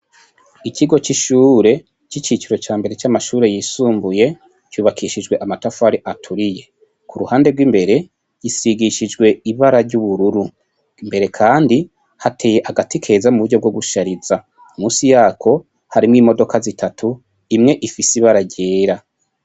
Ikigo c'ishure c'iciciro ca mbere c'amashure yisumbuye cubakishijwe amatafari aturiye, k'uruhande rw'imbere risigishijwe ry'ubururu, imbere kandi hateye agati keza muburyo bwo gushariza, musi yako harimwo imodoka zitatu, imwe ifise ibara ryera.